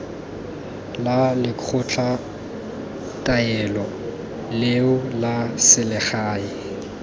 la lekgotlataolo leo la selegae